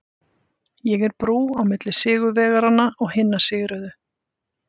Ég er brú á milli sigurvegaranna og hinna sigruðu.